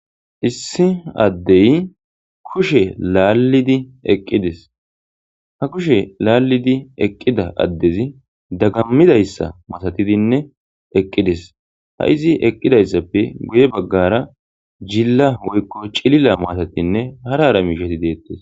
issi addey kushe laallidi eqqidis ha kushe laallidi eqqida addezi dagammidayssa masatidinne eqqidis ha izi eqqidayssappe guye baggara jilla woykko cilila matatinne harara miishati deettes